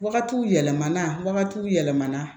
Wagatiw yɛlɛmana wagatiw yɛlɛmana